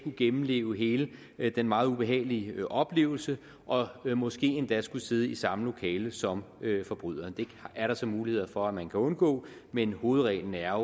gennemleve hele den meget ubehagelige oplevelse og måske endda skulle sidde i samme lokale som forbryderen det er der så muligheder for at man kan undgå men hovedreglen er